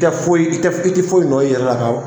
I tɛ foyi, i tɛ i ti foyi nɔ yɛrɛ la